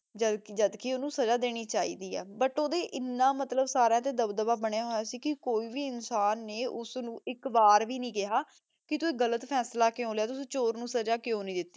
ਜਦ ਜਦ ਕੇ ਓਨੁ ਸਜ਼ਾ ਦੇਣੀ ਚੀ ਦੀ ਆ ਬੁਤ ਊ ਏਨਾ ਮਤਲਬ ਸਾਰੀਆਂ ਤੇ ਦਬਦਬਾ ਬਨਯ ਹੋਯਾ ਸੀ ਕੇ ਕੋਈ ਵੀ ਇਨਸਾਨ ਨੇ ਓਸ ਨੂ ਏਇਕ ਵਾਰ ਵੀ ਨਹੀ ਕਹਯ ਕੇ ਤੂ ਇਹ ਗਲਾ ਫੈਸਲਾ ਕ੍ਯੂ ਲਾਯਾ ਤੁਸੀਂ ਚੋਰ ਨੂ ਸਜ਼ਾ ਕ੍ਯੂ ਨਹੀ ਦਿਤੀ